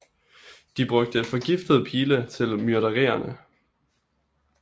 De brugte forgiftede pile til myrderierne